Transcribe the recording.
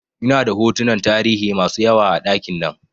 Ina da hotunan tarihi masu yawa a ɗakin nan